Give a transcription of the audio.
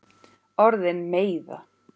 Orðin meiða.